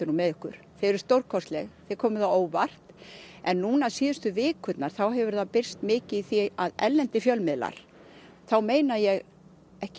með okkur þið eruð stórkostleg þið komið á óvart en núna síðustu vikurnar þá hefur það birst mikið í því að erlendir fjölmiðlar þá meina ég ekki